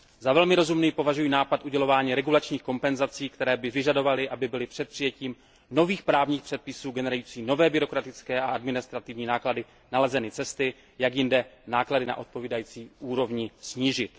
Za velmi rozumný považuji nápad udělování regulačních kompenzací, které by vyžadovaly, aby byly před přijetím nových právních předpisů generujících nové byrokratické a administrativní náklady nalezeny cesty, jak jinde náklady na odpovídající úrovni snížit.